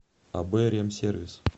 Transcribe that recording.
аб ремсервис